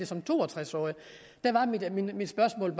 som to og tres årig mit spørgsmål